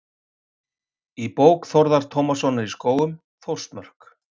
Í bók Þórðar Tómassonar í Skógum, Þórsmörk.